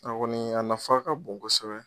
A kɔni a nafa ka bon kosɛbɛ